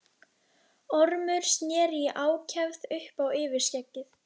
Ormur sneri í ákefð upp á yfirskeggið.